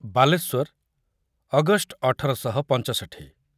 Baleswar August ଅଠର ଶହ ପଞ୍ଚଷଠୀ